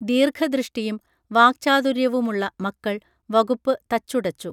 ദീർഘദൃഷ്ഠിയും വാക്ചാതുര്യവുമുള്ള മക്കൾ വകുപ്പ് തച്ചുടച്ചു